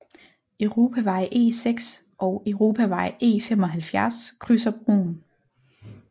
Europavej E6 og Europavej E75 krydser broen